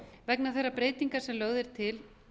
vegna þeirra breytinga sem lögð er til